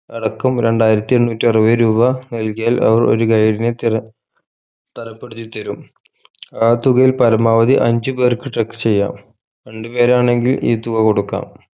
അടക്കം രണ്ടായിരത്തി എണ്ണൂറ്റി അറുപത് രൂപ നൽകിയാൽ അവർ ഒരു guide നെ തിര തരപ്പെടുത്തിത്തരും ആ തുകയിൽ പരമാവധി അഞ്ച്‌ പേർക്ക് truck ചെയ്യാം രണ്ടുപേരാണെങ്കിൽ ഈ തുക കൊടുക്കാം